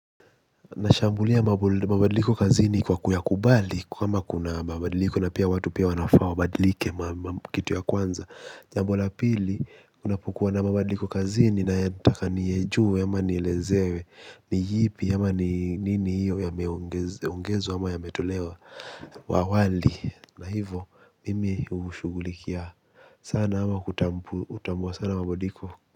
Nashambulia mabadiliko kazini kwa kuyakubali kwamba kuna mabadiliko na pia watu pia wanafaa wabadilike kitu ya kwanza jambo la pili unapokuwa na mabadiliko kazini nataka niyajue ama nielezewe. Ni yipi ama ni nini hiyo yameongezwa ama yametolewa wa awali. Na hivyo mimi hushughulikia sana ama kutambua sana mabadiliko.